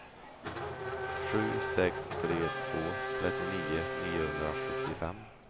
sju sex tre två trettionio niohundrasjuttiofem